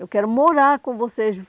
Eu quero morar com vocês.